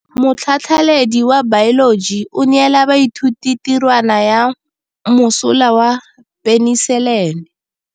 Motlhatlhaledi wa baeloji o neela baithuti tirwana ya mosola wa peniselene.